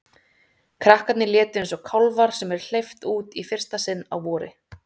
Krakkarnir létu eins og kálfar sem er hleypt út í fyrsta sinn á vori.